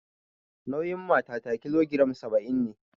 Nauyin matata kilogiram saba'in ne